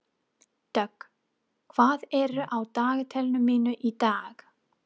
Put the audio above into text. Dögg, hvað er á dagatalinu mínu í dag?